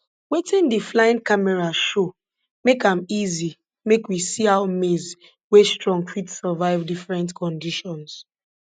wetin di flying camera show make am easy make we see how maize wey strong fit survive different conditions